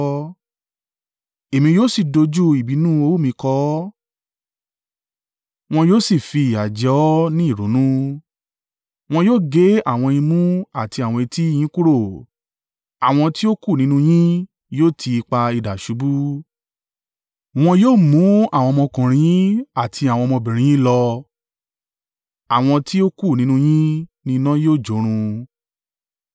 Èmi yóò sì dojú ìbínú owú mi kọ ọ́, wọn yóò sì fìyà jẹ ọ́ ní ìrunú. Wọ́n yóò gé àwọn imú àti àwọn etí yín kúrò, àwọn tí ó kù nínú yín yóò ti ipá idà ṣubú. Wọn yóò mú àwọn ọmọkùnrin àti àwọn ọmọkùnrin yín lọ, àwọn tí o kù nínú yín ni iná yóò jórun.